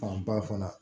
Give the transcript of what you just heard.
Fanba fana